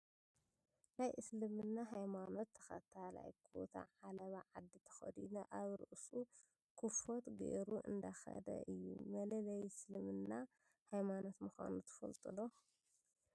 ናይ እስልምና ሃይማኖት ተከታላይ ኩታ ዓለባ ዓዲ ተከዲኑ ኣብ ርእሱ ኩፎት ገሩ እንዳከደ እዩ። መለለይ እስልምና ሃይማኖት ምኳኑ ትፈልጡ ዶ?